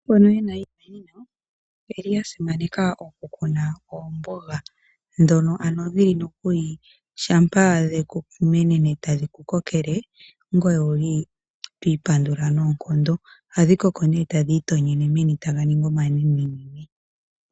Mboka yena iikunino oyeli ya simaneka oku kuna oomboga, dhono ano dhili nokuli shampa dheku menene, etadhi ku kokele, ngoye owuli twi pandula noonkondo. Ohadhi koko ne tadhi itonyene meni taga ningi omanenenene.